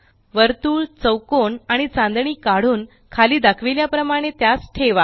वर्तुळ चौकोन आणि चांदणी काढून खाली दाखविल्या प्रमाणे त्यास ठेवा